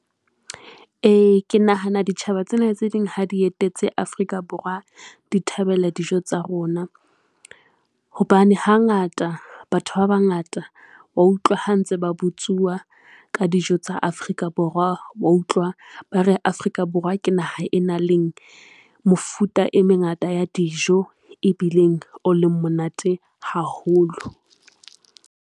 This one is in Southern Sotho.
E, ke nahana ditjhaba tsena tse ding ha di etetse Afrika Borwa, di thabela dijo tsa rona hobane hangata batho ba bangata wa utlwa ha ntse ba botsuwa ka dijo tsa Afrika Borwa, wa utlwa ba re Afrika Borwa ke naha e nang leng mofuta e mengata ya dijo e bileng o leng monate haholo.